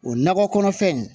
O nakɔ kɔnɔfɛn in